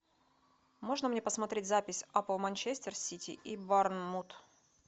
можно мне посмотреть запись апл манчестер сити и борнмут